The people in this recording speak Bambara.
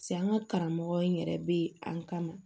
Se an ka karamɔgɔ in yɛrɛ be an kama